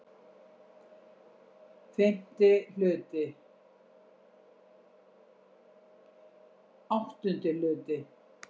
VIII Hluti